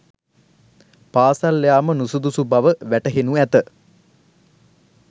පාසල් යාම නුසුදුසු බව වැටහෙනු ඇත.